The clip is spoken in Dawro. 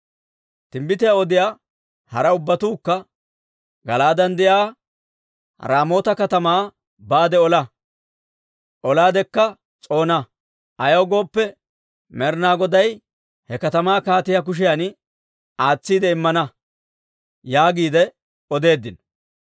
Timbbitiyaa odiyaa hara ubbatuukka, «Gala'aaden de'iyaa Raamoota katamaa baade ola; olaadekka s'oona. Ayaw gooppe, Med'inaa Goday he katamaa kaatiyaa kushiyan aatsiide immana» yaagiide odeeddino.